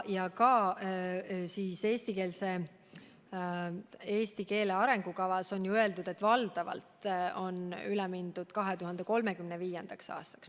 Ka eesti keele arengukavas on öeldud, et valdavalt on üle mindud 2035. aastaks.